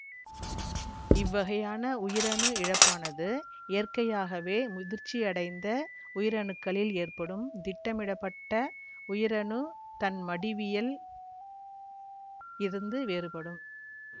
இவ்வகையான உயிரணு இழப்பானது இயற்கையாகவே முதிர்ச்சியடைந்த உயிரணுக்களில் ஏற்படும் திட்டமிடப்பட்ட உயிரணு தன்மடிவியல் இருந்து வேறுபடும்